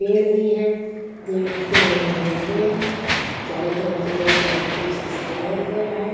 पेड़ भी है पेड़ रंग-बिरंगे हैं चारों तरफ से बहुत सारे फूल से सजाया गया है।